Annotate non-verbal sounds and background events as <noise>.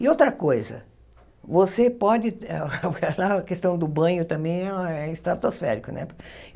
E outra coisa, você pode... <laughs> A questão do banho também é a é estratosférico, né?